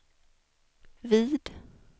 vid